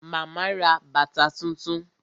Màmá ra bàtà tuntun